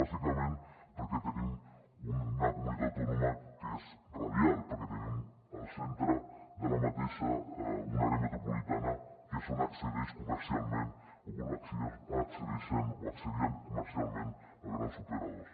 bàsicament perquè tenim una comunitat autònoma que és radial perquè tenim al centre d’aquesta una àrea metropolitana que és on accedeix comercialment o on accedeixen o accedien comercialment els grans operadors